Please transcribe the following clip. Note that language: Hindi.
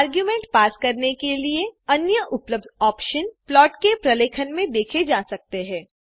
आर्ग्युमेंट पास करने के लिए अन्य उपलब्ध ऑप्शन प्लॉट के प्रलेखन में देखे जा सकते हैं